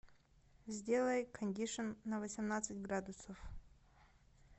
сделай кондишн на восемнадцать градусов